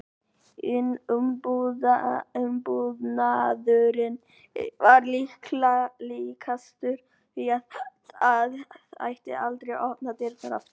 Umbúnaðurinn var líkastur því að það ætti aldrei að opna dyrnar aftur.